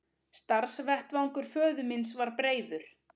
Starfsvettvangur föður míns var breiður.